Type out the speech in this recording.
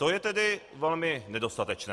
To je tedy velmi nedostatečné.